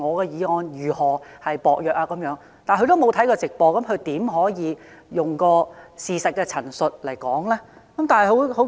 如果他沒有看過直播，他又怎可以用事實的陳述來作反駁理據呢？